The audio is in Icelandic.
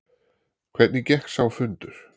Hvernig gekk sá fundur?